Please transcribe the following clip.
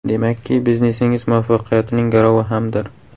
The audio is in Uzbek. Demakki, biznesingiz muvaffaqiyatining garovi hamdir.